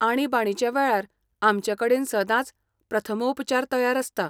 आणीबाणीच्या वेळार आमचे कडेन सदांच प्रथमोपचार तयार आसता.